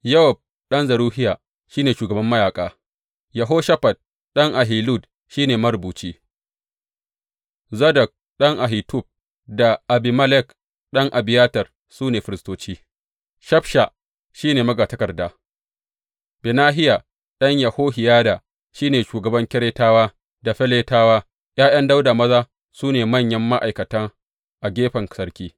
Yowab ɗan Zeruhiya shi ne shugaban mayaƙa; Yehoshafat ɗan Ahilud shi ne marubuci; Zadok ɗan Ahitub da Abimelek ɗan Abiyatar su ne firistoci; Shafsha shi ne magatakarda; Benahiya ɗan Yehohiyada shi ne shugaban Keretawa da Feletiyawa; ’ya’yan Dawuda maza su ne manyan ma’aikata a gefen sarki.